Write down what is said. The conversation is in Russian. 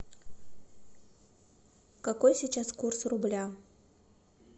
какой сейчас курс рубля